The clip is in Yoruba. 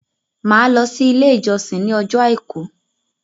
Màá lọ sí ilé ìjósìn ní ọjọ́ àìkú